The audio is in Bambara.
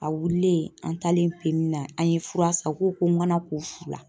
A wililen an taalen PMI na an ye fura san o k'o ko n kana ko fu la